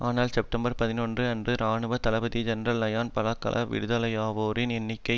ஆனால் செப்டம்பர் பதினொன்று அன்று இராணுவ தளபதி ஜெனரல் லயனல் பலகல்ல விடுதலையாவோரின் எண்ணிக்கை